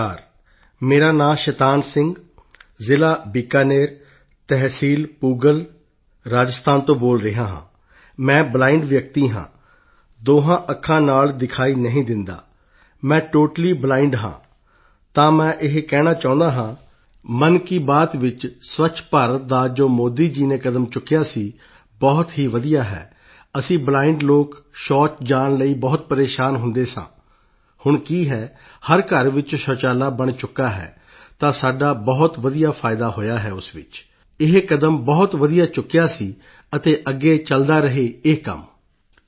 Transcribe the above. ਨਮਸਕਾਰ ਮੇਰਾ ਨਾਂ ਸ਼ੈਤਾਨ ਸਿੰਘ ਜ਼ਿਲ੍ਹਾਬੀਕਾਨੇਰ ਤਹਿਸੀਲਪੂਗਲ ਰਾਜਸਥਾਨ ਤੋਂ ਬੋਲ ਰਿਹਾ ਹਾਂ ਮੈਂ ਬਲਾਈਂਡ ਵਿਅਕਤੀ ਹਾਂ ਦੋਹਾਂ ਅੱਖਾਂ ਤੋਂ ਦਿਖਾਈ ਨਹੀਂ ਦਿੰਦਾ ਮੈਂ ਟੋਟਲੀ ਬਲਾਈਂਡ ਹਾਂ ਤਾਂ ਮੈਂ ਇਹ ਕਹਿਣਾ ਚਾਹੁੰਦਾ ਹਾਂ ਮਨ ਕੀ ਬਾਤ ਵਿੱਚ ਸਵੱਛ ਭਾਰਤ ਦਾ ਜੋ ਮੋਦੀ ਜੀ ਨੇ ਕਦਮ ਚੁੱਕਿਆ ਸੀ ਬਹੁਤ ਹੀ ਵਧੀਆ ਹੈ ਅਸੀਂ ਬਲਾਈਂਡ ਲੋਕ ਪਖਾਨੇ ਜਾਣ ਲਈ ਬਹੁਤ ਪਰੇਸ਼ਾਨ ਹੁੰਦੇ ਸਾਂ ਹੁਣ ਕੀ ਹੈ ਹਰ ਘਰ ਵਿੱਚ ਪਖਾਨਾ ਬਣ ਚੁੱਕਾ ਹੈ ਤਾਂ ਸਾਡਾ ਬਹੁਤ ਵਧੀਆ ਫਾਇਦਾ ਹੋਇਆ ਹੈ ਉਸ ਵਿੱਚ ਇਹ ਕਦਮ ਬਹੁਤ ਵਧੀਆ ਚੁੱਕਿਆ ਸੀ ਅਤੇ ਅੱਗੇ ਚਲਦਾ ਰਹੇ ਇਹ ਕੰਮ